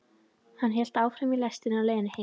Hann hélt áfram í lestinni á leiðinni heim.